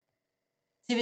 TV 2